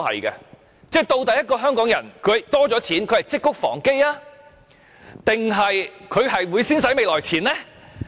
究竟香港人的金錢增加了，會積穀防飢還是會先花未來錢呢？